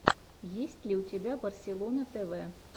есть ли у тебя барселона тэвэ